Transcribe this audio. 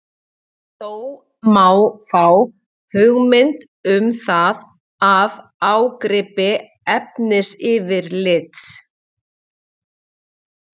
Þó má fá hugmynd um það af ágripi efnisyfirlits.